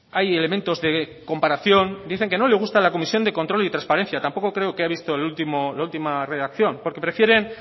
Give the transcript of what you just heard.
hay elementos de comparación dice que no le gusta la comisión de control y trasparencia tampoco creo que ha visto la última redacción porque prefieren